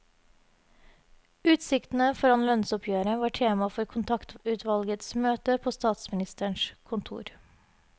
Utsiktene foran lønnsoppgjøret var tema for kontaktutvalgets møte på statsministerens kontor.